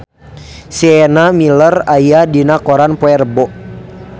Sienna Miller aya dina koran poe Rebo